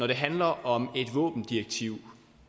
det handler om et våbendirektiv